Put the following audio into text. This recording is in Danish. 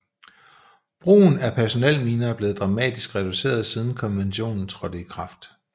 Brugen af personelminer er blevet dramatisk reduceret siden konventionen trådte i kraft